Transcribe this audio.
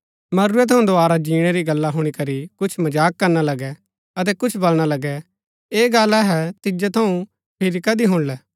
मरूरै थऊँ दोवारा जीणै री गल्ला हुणी करी कुछ मजाक करणा लगै अतै कुछ बलणा लगै ऐह गल्ल अहै तिजो थऊँ फिरी कदी हुणलै